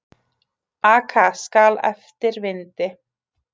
Aka skal eftir vindi.